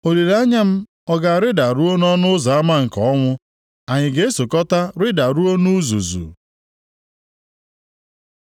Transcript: Olileanya m ọ ga-arịda ruo nʼọnụ ụzọ ama nke ọnwụ? Anyị ga-esokọta rịdaruo nʼuzuzu?”